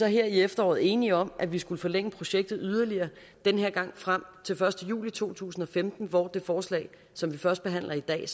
her i efteråret enige om at vi skulle forlænge projektet yderligere den her gang frem til første juli to tusind og femten hvor det forslag som vi førstebehandler i dag